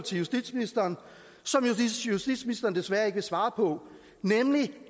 til justitsministeren som justitsministeren desværre ikke vil svare på nemlig